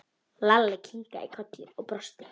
Lalli kinkaði kolli og brosti.